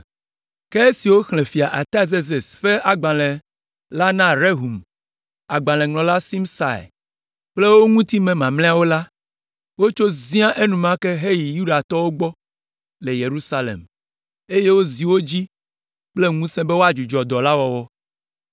Ke esi woxlẽ fia Artazerses ƒe agbalẽ la na Rehum, agbalẽŋlɔla Simsai kple wo ŋutime mamlɛawo la, wotso zia enumake heyi ɖe Yudatɔwo gbɔ le Yerusalem, eye wozi wo dzi kple ŋusẽ be woadzudzɔ dɔ la wɔwɔ.